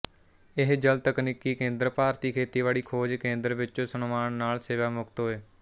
ਇਹ ਜਲ ਤਕਨੀਕੀ ਕੇਂਦਰ ਭਾਰਤੀ ਖੇਤੀਬਾੜੀ ਖੋਜ ਕੇਂਦਰ ਵਿਚੋਂ ਸਨਮਾਨ ਨਾਲ ਸੇਵਾਮੁਕਤ ਹੋਏ